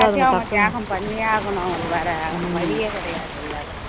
எல்லாத்தையும் அவங்க தியாகம் பண்ணியே ஆகணும் அவங்களுக்கு வேற வழியே கிடையாது இல்லை